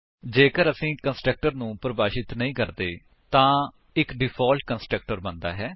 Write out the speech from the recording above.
ਜੇਕਰ ਅਸੀ ਕੰਸਟਰਕਟਰ ਨੂੰ ਪਰਿਭਾਸ਼ਿਤ ਨਹੀਂ ਕਰਦੇ ਹਾਂ ਤਾਂ ਇੱਕ ਡਿਫਾਲਟ ਕੰਸਟਰਕਟਰ ਬਣਦਾ ਹੈ